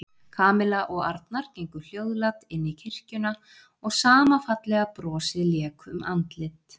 Kamilla og Arnar gengu hljóðlát inn í kirkjuna og sama fallega brosið lék um andlit